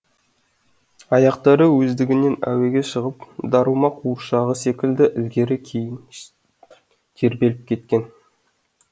аяқтары өздігінен әуеге шығып дарума қуыршағы секілді ілгері кейін тербеліп кеткен